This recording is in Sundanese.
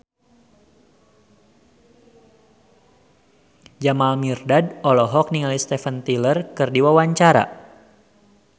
Jamal Mirdad olohok ningali Steven Tyler keur diwawancara